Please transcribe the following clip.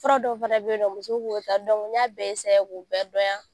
Fura dɔw fana be yen nɔ muso b'o ta n y'a bɛɛ k'u bɛɛ dɔnya.